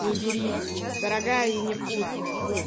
не берите дорогая и невкусная фу